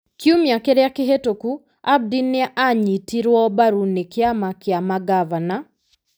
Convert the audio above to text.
Kiumia kĩrĩa kĩhĩtũku, Abdi nĩ aanyitirũo mbaru nĩ kĩama kĩa mangavana,